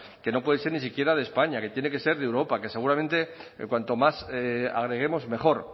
que no puede ser ni siquiera de españa que tiene que ser de europa que seguramente cuanto más agreguemos mejor